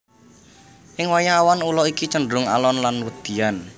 Ing wayah awan ula iki cenderung alon lan wedian